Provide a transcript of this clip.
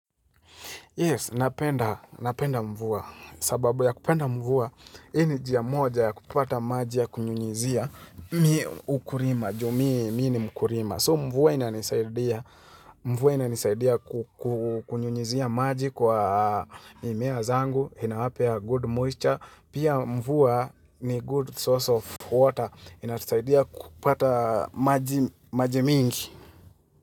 Yes, napenda mvua, sababu ya kupenda mvua, ini jia moja kupata maji ya kunyunyizia miukurima, jumi mini mkurima. So mvua ina nisaidia, mvua ina nisaidia kukunyunyizia maji kwa mimea zangu, ina wapea good moisture, pia mvua ni good source of water, ina nisaidia kupata maji mingi.